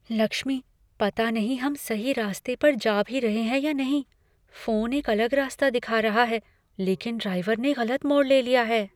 लक्ष्मी, पता नहीं हम सही रास्ते पर जा भी रहे हैं या नहीं। फोन एक अलग रास्ता दिखा रहा है, लेकिन ड्राइवर ने गलत मोड़ ले लिया है।